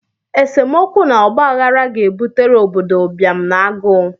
Esemokwu na ọgbaghara ga-ebutere obodo ụbịam na agụụ